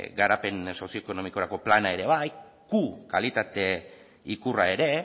garapen sozioekonomikorako plana ere q kalitate ikurra ere